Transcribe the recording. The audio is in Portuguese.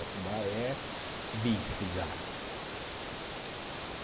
Otumbá é vice já.